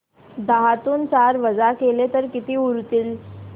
दहातून चार वजा केले तर किती उरतील